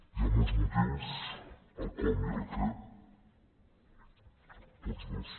hi ha molts motius el com i el què tots dos